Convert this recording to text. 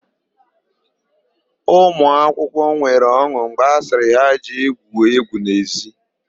Ụmụakwụkwọ nwere ọn̄ụ mgbe a sịrị ha jee gwuo égwú n'ezi.